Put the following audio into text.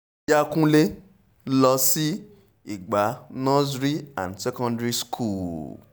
lọ́ọ̀ọ́yà kúnlẹ̀ mo lọ sí ìgbà nurony and secondary school